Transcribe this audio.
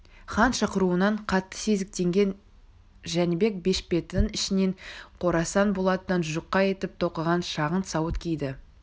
хан шақыруынан қатты сезіктенген жәнібек бешпетінің ішінен қорасан болатынан жұқа етіп тоқыған шағын сауыт киді